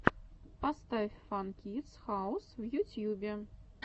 поставь фан кидс хаус в ютьюбе